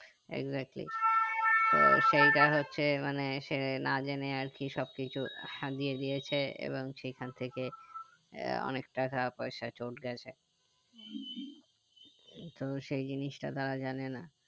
exactly তো সেইটা হচ্ছে মানে সেটা না জেনে আরকি সব কিছু দিয়ে দিয়েছে এবং সেই খান থেকে আহ অনেক টাকা পয়সা চলে গেছে তো সেই জিনিসটা তারা জানে না